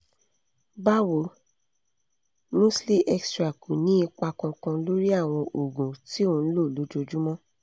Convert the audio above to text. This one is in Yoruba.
bawo musli extra kò ní ipa kankan lórí àwọn ogun tí o ń lo lójoojúmọ́